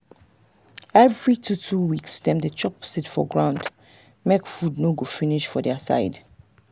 every two-two weeks dem dey drop seed for ground make food no go finish for their side.